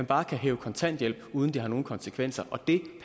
bare kan hæve kontanthjælp uden at det har nogen konsekvenser og det